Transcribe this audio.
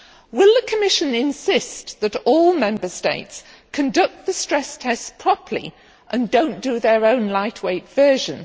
Will the Commission insist that all Member States conduct the stress tests properly, and do not do their own lightweight version?